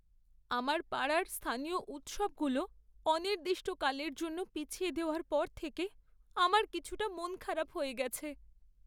আমার পাড়ার স্থানীয় উৎসবগুলো অনির্দিষ্টকালের জন্য পিছিয়ে দেওয়ার পর থেকে আমার কিছুটা মনখারাপ হয়ে গেছে।